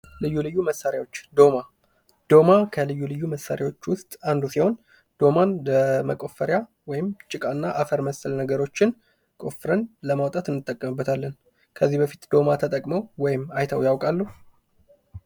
ልዩ ልዩ መሳሪያዎች ፦ ዶማ ፦ ዶማ ከልዩ ልዩ መሳሪያዎች ውስጥ አንዱ ሲሆን ዶማን ለመቆፈሪያ ወይም ጭቃ እና አፈር ምሰል ነገርን ቆፍረን ለማውጣት እንጠቀምበታለን ። ከዚህ በፊት ዶማ ተጠቅመው ወይም አይተው ያውቃሉ ?